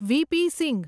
V.P. . Singh